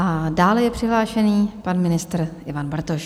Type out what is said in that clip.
A dále je přihlášený pan ministr Ivan Bartoš.